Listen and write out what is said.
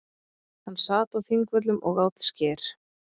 Hann sat á Þingvöllum og át skyr.